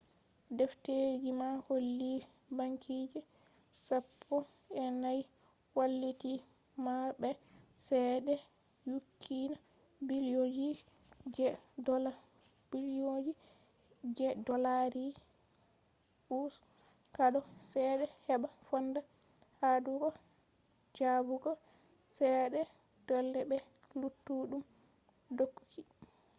defteji man holli bankije sappo e nay walliti marɓe ceede nyukkina billionji je dollarji us hado chede heba fonda haɗugo jabbugo ceede dole be luttuɗum dokoki